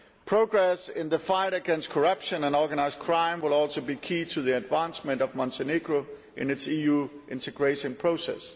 Progress in the fight against corruption and organised crime will also be key to the advancement of Montenegro in its EU integration process.